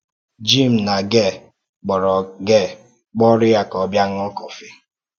Jim na Gail kpọ̀rọ Gail kpọ̀rọ ya ka ọ bịa ṅụ́ọ́ kọ́fị.